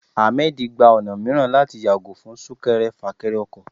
Ahmed gba ọna miiran latí yagò fún sunkẹrẹ-fakẹrẹ ọkọ.